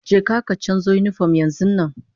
Je ka ka canzo yinifom yanzun nan!